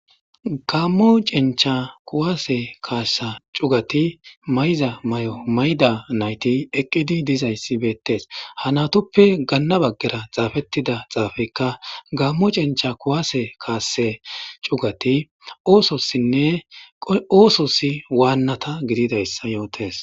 Gammo Chencha kuwase kaassa cuugati maayiza maayo maayida nayti eqidayti bettees.ha naytuppe Gana bagara xaapettida xaapeyika Gammo Chencha kuwase kaassa cuugati oososine oososi waannata Gididayssa Yotees.